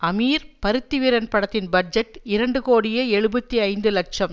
அமீர் பருத்திவீரன் படத்தின் பட்ஜெட் இரண்டு கோடியே எழுபத்தி ஐந்து லட்சம்